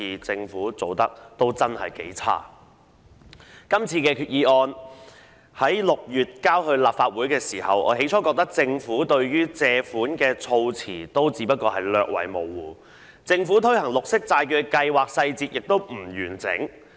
這項擬議決議案在6月提交立法會時，我最初覺得政府有關借款的措辭略為模糊，政府推行綠色債券計劃的細節亦不完整。